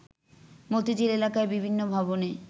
মতিঝিল এলাকায় বিভিন্ন ভবনে